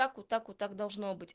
так вот так вот так должно быть